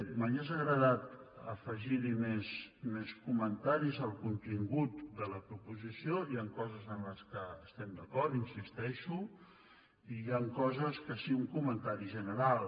m’hauria agradat afegir hi més comentaris al contingut de la proposició hi han coses en què estem d’acord hi insisteixo i hi han coses que sí un comentari general